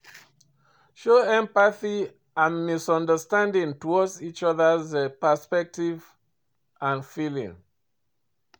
Show empathy and understanding towards each other's perspective and feeling.